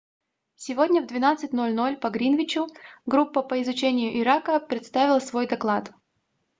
сегодня в 12:00 по гринвичу группа по изучению ирака представила свой доклад